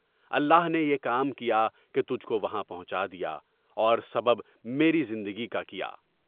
اللہ نے یہ کام کیا کہ تجھ کو وہاں پہنچا دیا اور سبب میری زندگی کا کیا۔